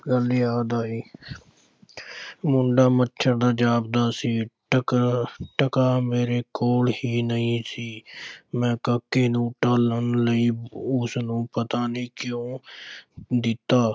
ਗੱਲ ਯਾਦ ਆਈ ਮੁੰਡਾ ਮੱਛਰ ਦਾ ਜਾਪਦਾ ਸੀ ਟਕਾ ਟਕਾ ਮੇਰੇ ਕੋਲ ਹੀ ਨਹੀਂ ਸੀ ਮੈਂ ਕਾਕੇ ਨੂੰ ਟਾਲਣ ਲਈ ਉਸਨੂੰ ਪਤਾ ਨਹੀਂ ਕਿਉਂ ਦਿੱਤਾ।